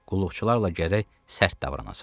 Qulluqçularla gərək sərt davranasan.